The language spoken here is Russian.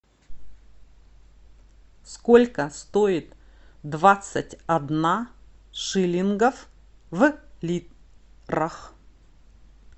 сколько стоит двадцать одна шиллингов в лирах